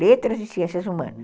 Letras e Ciências Humanas.